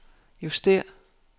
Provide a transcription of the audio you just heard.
justér